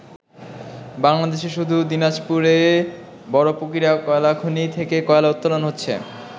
বাংলাদেশে শুধু দিনাজপুরে বড় পুকুরিয়া কয়লা খনি থেকে কয়লা উত্তোলন হচ্ছে।